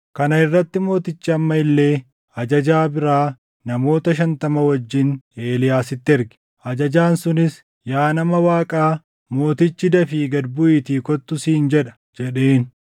Kana irratti mootichi amma illee ajajaa biraa namoota shantama wajjin Eeliyaasitti erge. Ajajaan sunis, “Yaa nama Waaqaa, mootichi, ‘Dafii gad buʼiitii kottu!’ siin jedha” jedheen.